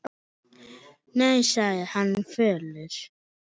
Nei, sagði hann fölur.